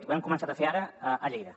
ho hem començat a fer ara a lleida